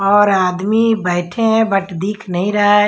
और आदमी बैठे है बट दिख नहीं रहा--